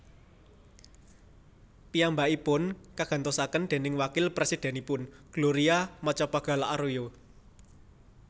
Piyambakipun kagantosaken dèning wakil presidenipun Gloria Macapagal Arroyo